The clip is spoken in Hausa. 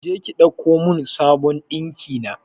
Je ki ɗauko mun sabon ɗinkina